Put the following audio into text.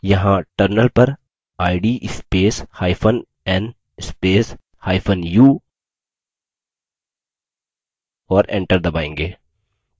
यहाँ terminal पर id spacehyphen n spacehyphen u और enter दबायेंगे